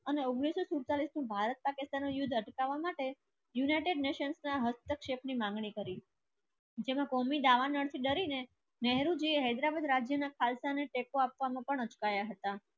અને ઉંગ્નીસ સો સેતાલીસ માં ભારત પાકિસ્તાન યુદ્ધ માટે united nation ના હસ્તક્ષેપની માંગણી કરી ને હૈદરાબાદ રાજ્યના ખાલસા ને ટેકો આપવામાં પણ અટકાયા હતા